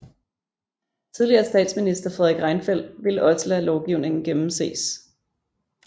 Tidligere statsminister Fredrik Reinfeldt ville også lade lovgivningen gennemses